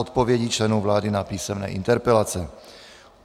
Odpovědi členů vlády na písemné interpelace